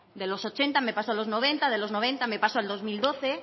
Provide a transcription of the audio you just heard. de los ochenta me paso a los noventa de los noventa me paso al dos mil doce